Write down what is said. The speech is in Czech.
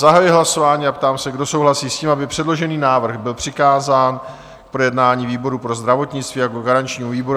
Zahajuji hlasování a ptám se, kdo souhlasí s tím, aby předložený návrh byl přikázán k projednání výboru pro zdravotnictví jako garančnímu výboru?